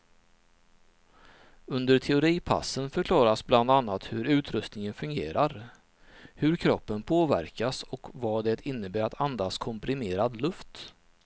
Under teoripassen förklaras bland annat hur utrustningen fungerar, hur kroppen påverkas och vad det innebär att andas komprimerad luft.